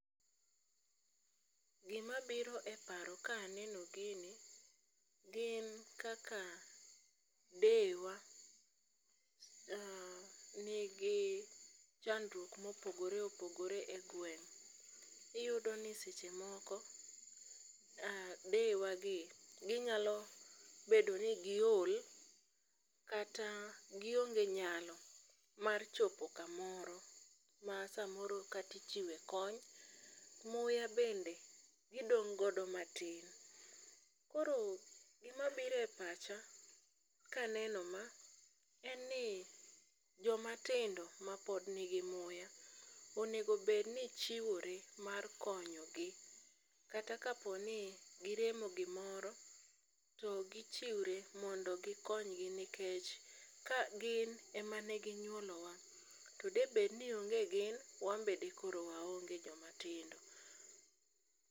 Gima biro e paro ka aneno gini gin kaka deyewa, uh, nigi chandruok mopogore opogore e gweng'. Iyudo ni seche moko deyewa gi, ginyalo bedo ni giol, kata gionge nyalo mar chopo kamoro ma samoro katichiwe konyo. Muya bende gidong' godo matin. Koro gima bire pacha kaneno ma en ni joma tindo ma pod nigi muya, onego bedni chiwore mar konyo gi. Kata kapo ni giremo gimoro, to gichiwre mondo gikonygi nikech ka gin ema e ginyuolo wa. To debed ni onge gin, wambe dikoro waonge joma tindo.